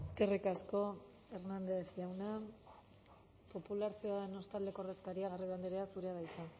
eskerrik asko hernández jauna popular ciudadanos taldeko ordezkaria garrido andrea zurea da hitza